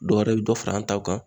Dɔwɛrɛ bɛ dɔ fara an taw kan